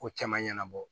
Ko caman ɲɛnabɔ